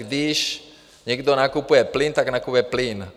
Když někdo nakupuje plyn, tak nakupuje plyn.